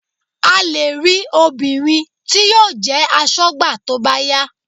A lè rí obìnrin tí yóò jẹ́ aṣọ́gbà tó bá yá